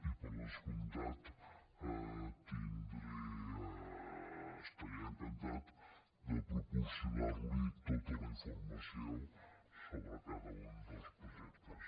i per descomptat estaré encantat de proporcionar li tota la informació sobre cada un dels projectes